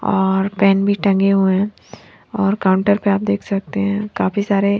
और पेन भी टंगे हुए है और काउंटर पे आप देख सकते है काफी सारे --